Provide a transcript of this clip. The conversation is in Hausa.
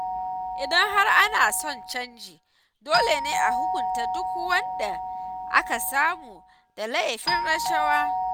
Idan har ana son canji, dole ne a hukunta duk wanda aka samu da laifin rashawa.